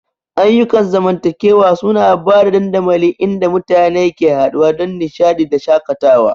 Ayyukan zamantakewa suna ba da dandamali inda mutane ke haɗuwa don nishaɗi da shakatawa.